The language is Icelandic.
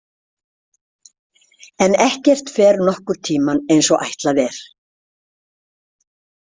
En ekkert fer nokkurn tímann eins og ætlað er.